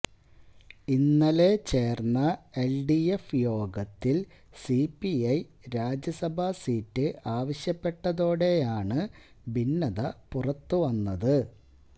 ഇന്നലെ ചേര്ന്ന എല്ഡിഎഫ് യോഗത്തില് സിപിഐ രാജ്യസഭാ സീറ്റ് ആവശ്യപ്പെട്ടതോടെയാണ് ഭിന്നത പുറത്തു വന്നത്